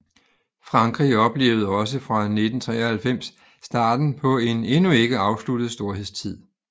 Frankrig oplevede også fra 1993 starten på en endnu ikke afsluttet storhedstid